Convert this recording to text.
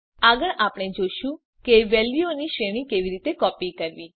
આગળ આપણે જોઈશું કે વેલ્યુઓની શ્રેણીને કેવી રીતે કોપી કરવી